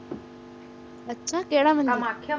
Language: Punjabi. ਕਿਰਾ ਮੰਦਰ